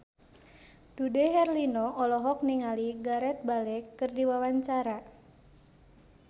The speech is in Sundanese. Dude Herlino olohok ningali Gareth Bale keur diwawancara